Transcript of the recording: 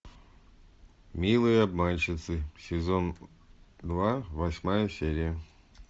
милые обманщицы сезон два восьмая серия